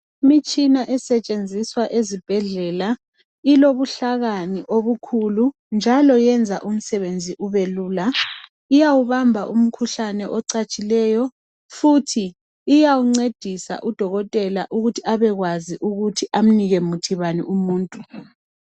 Imitshina esetshenziswa ezibhedlela ilobuhlakani obukhulu njalo iyenza umsebenzi kubelula ,iyawubamba umkhuhlane ocatshileyo njalo iyawuncedisa udokotela ukuthi awunike wuphi umuthi umuntu.